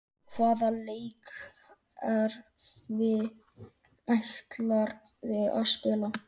Hvaða leikkerfi ætlarðu að spila?